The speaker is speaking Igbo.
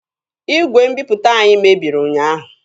Igwe mbiputa anyị mebiri ụnyaahụ.